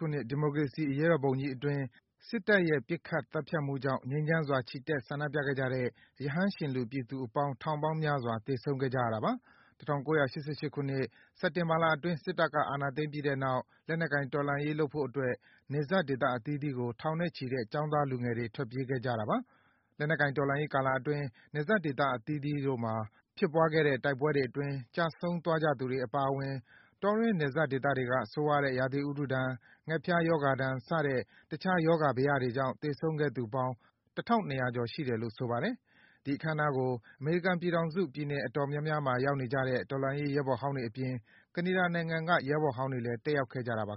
ခုနှစ် ဒီမိုကရေစီအရေးတော်ပုံကြီးအတွင်း စစ်တပ်ရဲ့ ပစ်ခတ်သတ်ဖြတ်မှုကြောင့် ငြိမ်းချမ်းစွာ ချီတက် ဆန္ဒပြကြတဲ့ ရဟန်းရှင်လူ ပြည်သူအပေါင်း ထောင်ပေါင်းများစွာ သေဆုံးခဲ့ကြရတာပါ။ ၁၉၈၈ ခုနှစ် စက်တင်ဘာလအတွင်း စစ်တပ်က အာဏာသိမ်းပြီးတဲ့နောက် လက်နက်ကိုင် တော်လှန်ရေးဆက်လုပ်ဖို့အတွက် နယ်စပ်ဒေသအသီးသီးကို ထောင်နဲ့ချီတဲ့ ကျောင်းသား လူငယ်တွေ ထွက်ပြေးသွားခဲ့ကြတာပါ။ လက်နက်ကိုင်တော်လှန်ရေးကာလအတွင်း နယ်ဒေသအသီးသီးတို့မှာ ဖြစ်ပွားတဲ့ တိုက်ပွဲတွေအတွင်း ကျဆုံးသွားကြသူတွေ အပါအဝင် တောတွင်း နယ်စပ်ဒေသတွေက ဆိုးရွားတဲ့ ရာသီဥတုဒဏ်၊ ငှက်ဖျားရောဂါဒဏ် စတဲ့ တခြား ရောဂါဘယတွေကြောင့် သေဆုံးခဲ့သူပေါင်း ၁,၂၀၀ ကျော် ရှိတယ်လို့ ဆိုပါတယ်။ ဒီအခမ်းအနားကို အမေရိကန်ပြည်ထောင်စု ပြည်နယ်အတော်များများမှာ ရောက်နေကြတဲ့ တော်လှန်ရေး ရဲဘော်ဟောင်းတွေအပြင် ကနေဒါနိုင်ငံမှာ ရောက်နေကြတဲ့ ရဲဘော်ဟောင်းတွေလည်း တက်ရောက်ခဲ့ကြပါ